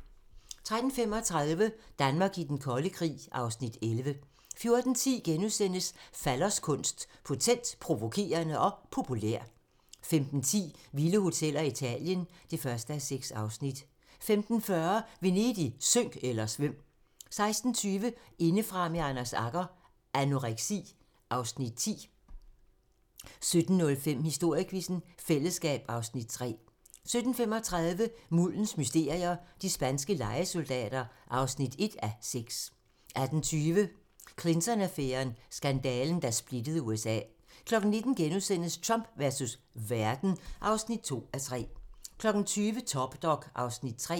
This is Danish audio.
13:35: Danmark i den kolde krig (Afs. 11) 14:10: Falloskunst: Potent, provokerende og populær * 15:10: Vilde hoteller - Italien (1:6) 15:40: Venedig - synk eller svøm! 16:20: Indefra med Anders Agger - Anoreksi (Afs. 10) 17:05: Historiequizzen: Fællesskab (Afs. 3) 17:35: Muldens mysterier - de spanske lejesoldater (1:6) 18:20: Clinton-affæren: Skandalen, der splittede USA 19:00: Trump versus verden (2:3)* 20:00: Top Dog (Afs. 3)